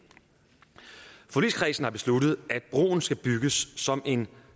forligskredsen har besluttet at broen skal bygges som en